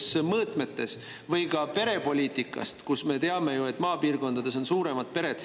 ka perepoliitikast, me teame ju, et maapiirkondades on suuremad pered.